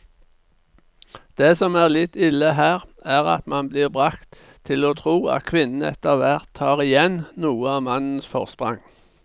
Det som er litt ille her, er at man blir bragt til å tro at kvinnene etterhvert tar igjen noe av mannens forsprang.